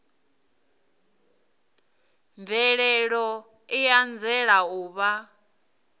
mvelelo i anzela u vha